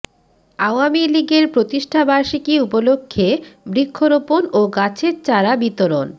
আওয়ামী লীগের প্রতিষ্ঠাবার্ষিকী উপলক্ষে বৃক্ষরোপণ ও গাছের চারা বিতরণ